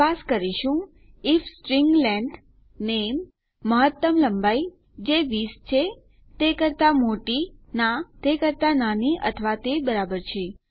તપાસ કરીશું if string length name મહત્તમ લંબાઈ જે 20 છે તે કરતા મોટી ના તે કરતા નાની અથવા તે બરાબર છે